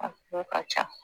A ko ka ca